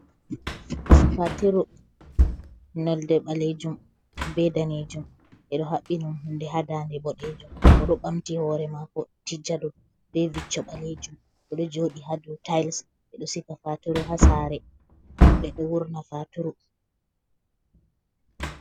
Fatiru, nolde ɓalejum be danejum, ɓeɗo haɓɓi niɗum hunde hadande boɗejum, oɗo bamti hore mako tijja dow be vicco ɓalejum, ɓeɗo joɗi hado tayis ɓeɗo siga faturu ha sare, ɓeɗo wurna faturu.